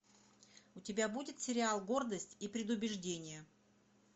у тебя будет сериал гордость и предубеждение